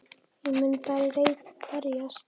Ég mun berjast